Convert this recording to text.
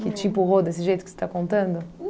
Que te empurrou desse jeito que você está contando?